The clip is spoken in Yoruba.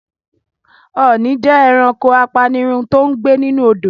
Ọ̀ọni jẹ́ ẹranko apanirun tòun gbé nínú Odò.